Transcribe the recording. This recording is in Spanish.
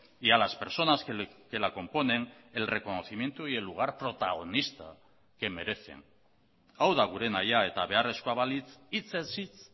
y a las personas que la componen el reconocimiento y el lugar protagonista que merecen hau da gure nahia eta beharrezkoa balitz hitzez hitz